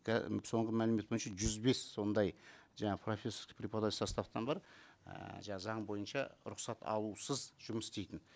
соңғы мәлімет бойынша жүз бес ондай жаңа профессорско преподавательский составтан бар ііі заң бойынша рұқсат алусыз жұмыс істейтін